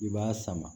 I b'a sama